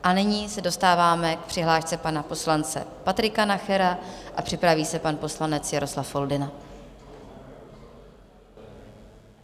A nyní se dostáváme k přihlášce pana poslance Patrika Nachera a připraví se pan poslanec Jaroslav Foldyna.